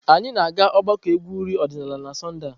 Anyị na-aga ogbako egwu uri odinala na Sọnde a.